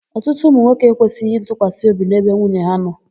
Ọtụtụ ụmụnwoke ekwesịghị ntụkwasịobi n'ebe nwunye ha nọ.